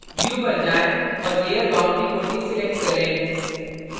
view view पर जाएँ और layer boundary को deselect करें